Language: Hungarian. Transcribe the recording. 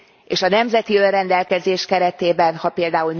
És a nemzeti önrendelkezés keretében, ha pl.